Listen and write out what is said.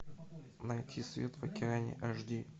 найти свет в океане аш ди